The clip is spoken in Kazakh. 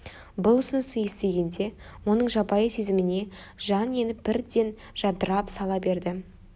бұл ұсынысты естігенде оның жабайы сезіміне жан еніп бірден жадырап сала берді